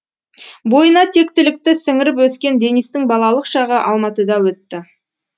бойына тектілікті сіңіріп өскен денистің балалық шағы алматыда өтті